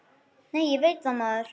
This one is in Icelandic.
Nei, ég veit það, maður!